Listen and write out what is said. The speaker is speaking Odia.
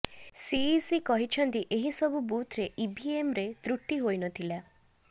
ସିଇସି କହିଛନ୍ତି ଏହି ସବୁ ବୁଥ୍ରେ ଇଭିଏମ୍ରେ ତ୍ରୁଟି ହୋଇ ନଥିଲା